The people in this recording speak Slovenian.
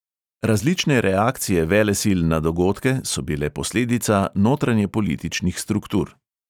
Različne reakcije velesil na dogodke so bile posledica notranjepolitičnih struktur.